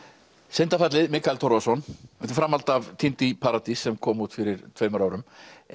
syndafallið Mikael Torfason þetta er framhald af týnd í paradís sem kom út fyrir tveimur árum